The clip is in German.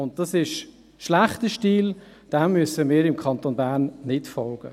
Dies ist schlechter Stil, diesem müssen wir im Kanton Bern nicht folgen.